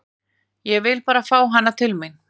Ég vil bara fá hana til mín.